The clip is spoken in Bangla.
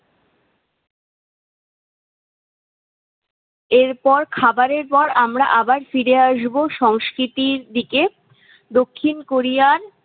এরপর খাবারের পর আমরা আবার ফিরে আসবো সংস্কৃতির দিকে দক্ষিণ কোরিয়া